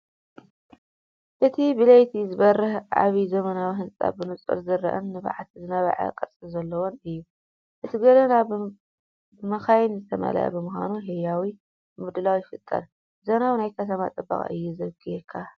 እቲ ብለይቲ ዝበርህ ዓቢ ዘመናዊ ህንጻ ብንጹር ዝርአን ንብዓት ዝነብዕ ቅርጺ ዘለዎን እዩ። እቲ ጎደና ብመካይን ዝተመልአ ብምዃኑ ህያው ምድላው ይፈጥር። ዘመናዊ ናይ ከተማ ጽባቐ እዩ ዘብክየካ!